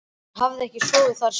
Hann hafði ekki sofið þar síðan.